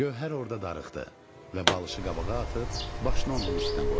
Gövhər orda darıxdı və balışı qabağa atıb başını onun üstünə qoydu.